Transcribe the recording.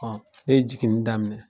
Ɔn ne ye jiginni daminɛ